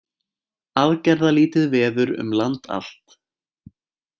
Aðgerðalítið veður um land allt